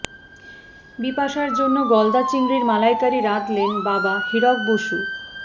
বিপাশার জন্য গলদা চিংড়ির মালাইকারি রাঁধলেন বাবা হিরক বসু